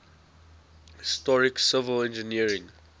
historic civil engineering